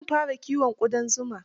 Zan fara kiyon ƙudan zuma.